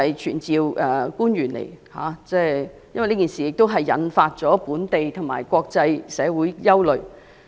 傳召官員到立法會，是因為這件事情已引起本地和國際社會關注。